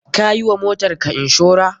Ka yi wa motarka inshora?